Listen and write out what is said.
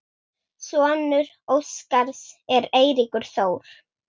Sonur Óskars er Eiríkur Þór.